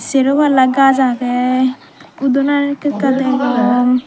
sero palla gaj agey udonan ekka ekka degong.